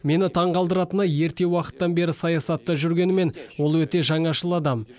мені таңғалдыратыны ерте уақыттан бері саясатта жүргенімен ол өте жаңашыл адам